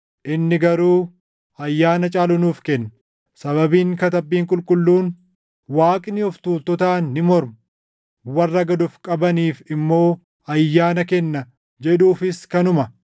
Inni garuu ayyaana caalu nuuf kenna. Sababiin Katabbiin Qulqulluun, “Waaqni of tuultotaan ni morma; warra gad of qabaniif immoo ayyaana kenna” + 4:6 \+xt Fak 3:34\+xt* jedhuufis kanuma.